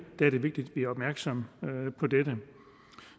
er det vigtigt at vi er opmærksomme på dette